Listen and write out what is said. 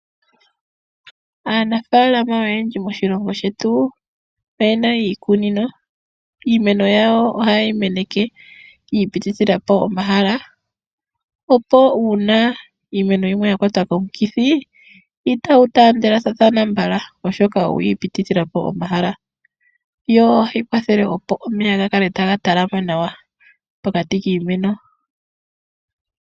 Aanafaalama oyendji moshilongo shetu oye na iikunino. Iimeno yawo ohaye yi meneke ya ipithila po omahala, opo uuna iimeno yimwe ya kwatwa komikithi itagu taandele mbala oshoka oya ipitithila po omahala., yo ohayi kwathele opo omeya ga talame nawa pokati kiimeno.